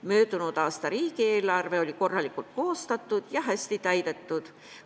Möödunud aasta riigieelarve oli korralikult koostatud ja hästi täidetud.